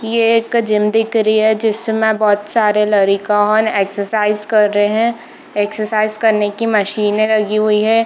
ये एक जिम दिख रही है जिसमें बहुत सारे लड़िकन एक्सरसाइज कर रहे हैं एक्सरसाइज करने की मशीन रखी हुई है।